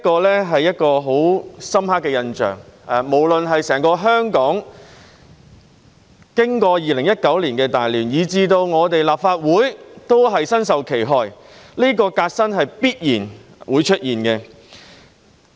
這是一個很深刻的印象，經歷2019年的大亂，無論是整個香港，以至立法會，皆身受其害，這個革新是必然會出現的。